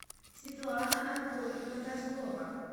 светлана анатольевна козлова